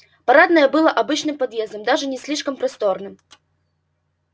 парадное было обычным подъездом даже не слишком просторным